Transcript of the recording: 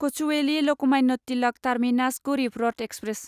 Kochuveli Lokmanya Tilak terminus Garib Rath express